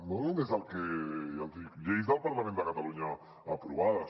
no només el que ja els hi dic lleis del parlament de catalunya aprovades